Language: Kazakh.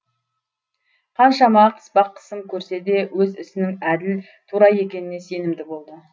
қаншама қыспақ қысым көрсе де өз ісінің әділ тура екеніне сенімді болды